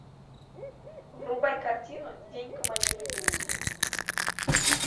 врубай картину день командира дивизии